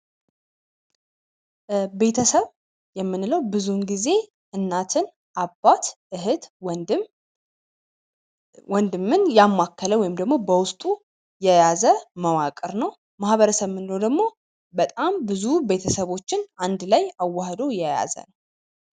ቤተሰብ የምንለው ብዙውን ጊዜ እናትን አባት እህት ወንድምን ያማከለ ወይም ደግሞ በውስጡ የያዘ መዋቅር ነው ማህበረሰብ የምንለው ደግሞ በጣም ብዙ ቤተሰቦችን አንድ ላይ አዋህዶ የያዘ